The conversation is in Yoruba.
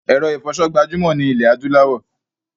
Èro ìfoso gbajúmò ni ilẹ̀ adúláwò